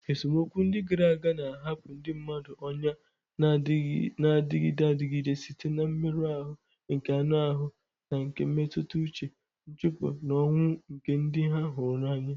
Esemokwu ndị gara aga na-ahapụ ndị mmadụ ọnyà na-adịgide adịgide site na mmerụ ahụ nke anụ ahụ na nke mmetụta uche, nchụpụ, na ọnwụ nke ndị ha hụrụ n'anya.